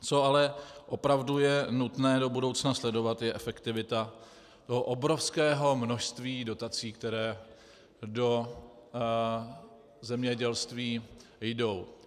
Co ale opravdu je nutné do budoucna sledovat, je efektivita toho obrovského množství dotací, které do zemědělství jdou.